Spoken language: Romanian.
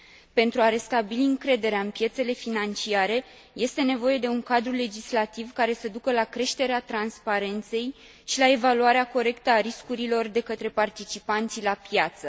Pentru a restabili încrederea în piețele financiare, este nevoie de un cadru legislativ care să ducă la creșterea transparenței și la evaluarea corectă a riscurilor de către participanții la piață.